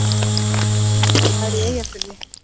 Núverandi sýslumaður í Eyjafirði.